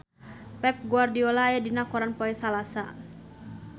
Pep Guardiola aya dina koran poe Salasa